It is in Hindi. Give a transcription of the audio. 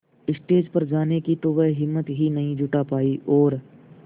स्टेज पर जाने की तो वह हिम्मत ही नहीं जुटा पाई और